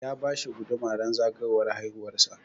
Ya bashi guduma ran zagayowar haihuwar sa